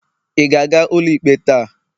ị ga-aga ụlọikpe taa?